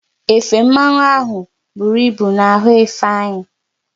Efe mmanwu ahụ bụru ịbụ n'ahụ Ifeanyị